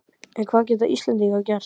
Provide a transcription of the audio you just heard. En hvað geta Íslendingar gert?